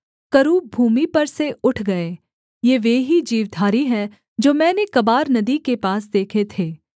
करूब भूमि पर से उठ गए ये वे ही जीवधारी हैं जो मैंने कबार नदी के पास देखे थे